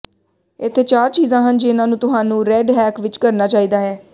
ਇੱਥੇ ਚਾਰ ਚੀਜ਼ਾਂ ਹਨ ਜਿਹਨਾਂ ਨੂੰ ਤੁਹਾਨੂੰ ਰੈੱਡ ਹੈਕ ਵਿਚ ਕਰਨਾ ਚਾਹੀਦਾ ਹੈ